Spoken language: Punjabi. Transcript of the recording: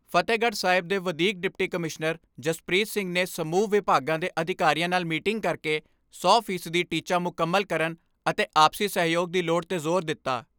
ਫਤਹਿਗੜ੍ਹ ਸਾਹਿਬ ਦੇ ਵਧੀਕ ਡਿਪਟੀ ਕਮਿਸ਼ਨਰ ਜਸਪ੍ਰੀਤ ਸਿੰਘ ਨੇ ਸਮੂਹ ਵਿਭਾਗਾਂ ਦੇ ਅਧਿਕਾਰੀਆਂ ਨਾਲ ਮੀਟਿੰਗ ਕਰਕੇ ਸੌ ਫੀਸਦੀ ਟੀਚਾ ਮੁਕੰਮਲ ਕਰਨ ਅਤੇ ਆਪਸੀ ਸਹਿਯੋਗ ਦੀ ਲੋੜ ਤੇ ਜੋਰ ਦਿੱਤਾ।